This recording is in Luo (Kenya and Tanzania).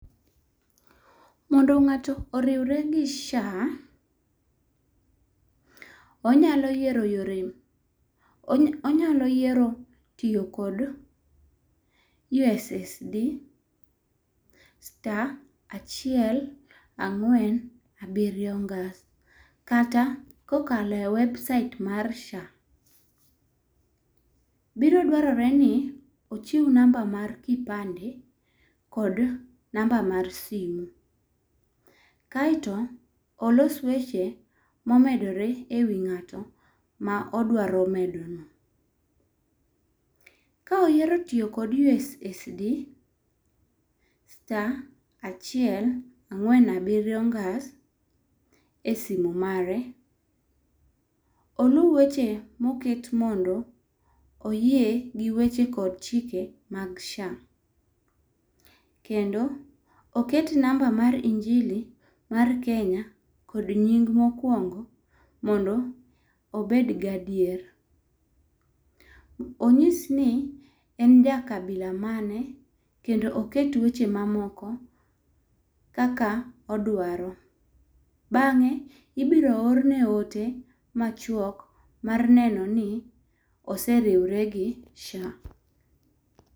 Mondo ng'ato oriwre gi SHA, onyalo yiero tiyo kod yo ssd,star achiel, ang'wen abiriyo ngas kata kokalo e website mar SHA. Biro dwarore ni ochiw namba mar kipande kod namba mar simu. Kaeto, olos weche momedore e wi ng'ato ma odwaro medo no. Ka oyiero tiyo kod yo ssd,star achiel, ang'wen, abiriyo ngas,e simu mare, oluw weche moket mondo oyie gi weche kod chike mag SHA. Kendo oket namba mar injili mar Kenya kod nying mokwongo mondo obed gadier. Onyis ni, en ja kabila mane, kendo oket weche mamoko kaka odwaro. Bang'e, ibiro orne ote machuok mar nenoni oseriwre gi SHA.